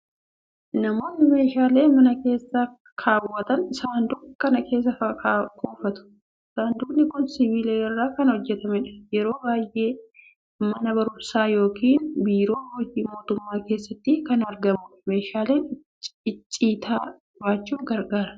Namoonni meeshaalee mana keessa kaawwatan saanduqa kana keessa kuufatu. Saanduqni kun sibiila irraa kan hojjetamudha. Yeroo baay'ee mana barumsaa yookiin biiroo hojii mootummaa keessatti kan argamudha. Meeshaalee icciitaa baachuuf gargaara.